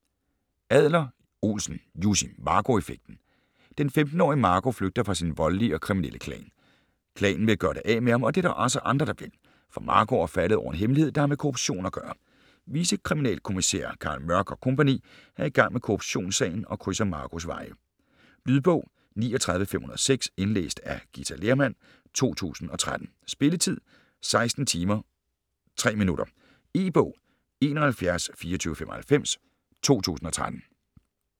Adler-Olsen, Jussi: Marco effekten Den 15-årige Marco flygter fra sin voldelige og kriminelle klan. Klanen vil gøre det af med ham, og det er der også andre, der vil, for Marco er faldet over en hemmelighed, der har med korruption at gøre. Vicekriminalkommissær Carl Mørck og co. er i gang med korruptionssagen og krydser Marcos veje. Lydbog 39506 Indlæst af Githa Lehrmann, 2013. Spilletid: 16 timer, 3 minutter. E-bog 712495 2013.